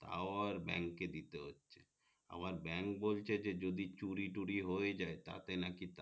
তাও আর ব্যাংক এ দিতে হচ্ছে আবার ব্যাংক বলছে যে যদি চুরি তুড়ি হয়ে যাই তাতে নাকি তারা